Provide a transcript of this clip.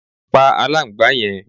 Pá aláǹgbá yẹn